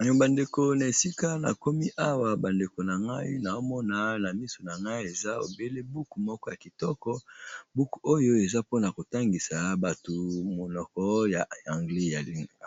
Oyo bandeko na esika na komi awa bandeko ,na ngai naomona na miso na ngai eza buku moko ya kitoko buku oyo eza mpona kotangisa batu monoko ya anglais ya